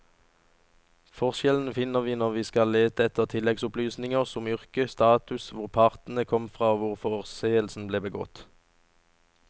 Forskjellene finner vi når vi skal lete etter tilleggsopplysninger som yrke, status, hvor partene kom fra og hvor forseelsen ble begått.